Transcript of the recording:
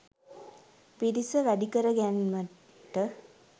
පිරිස වැඩි කර ගැන්මට